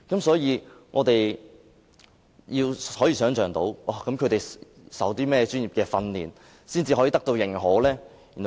所以，我們難以想象，他們要受過甚麼專業訓練才能得到認可呢？